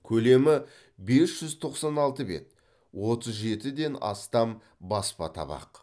көлемі бес жүз тоқсан алты бет отыз жетіден астам баспа табақ